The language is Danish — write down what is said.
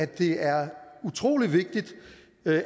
det er utrolig vigtigt